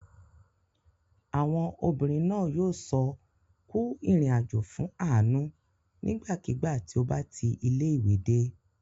Àwọn obìnrin náà yóò sọ "Kú ìrìnàjò" fún Àánú nígbàkigbà tí ó bá ti ilé-ìwé dé.